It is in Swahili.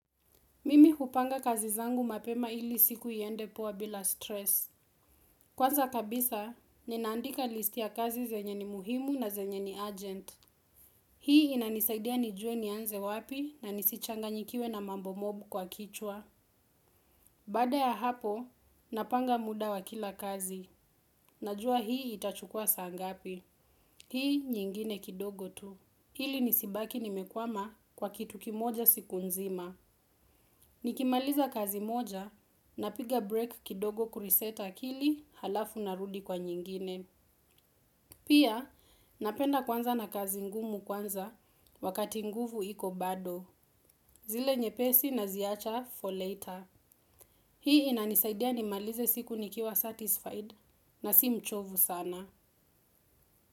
Mimi hupanga kazi zangu mapema ili siku iende poa bila stress. Kwanza kabisa, ninaandika listi ya kazi zenye ni muhimu na zenye ni urgent. Hii inanisaidia nijue nianze wapi na nisichanganyikiwe na mambo mob kwa kichwa. Baada ya hapo, napanga muda wa kila kazi. Najua hii itachukuwa saa ngapi. Hii nyingine kidogo tu. Ili nisibaki nimekwama kwa kitu kimoja siku nzima. Nikimaliza kazi moja napiga break kidogo kureset akili halafu narudi kwa nyingine. Pia napenda kuanza na kazi ngumu kwanza wakati nguvu iko bado. Zile nyepesi naziacha for later. Hii inanisaidia nimalize siku nikiwa satisfied na si mchovu sana.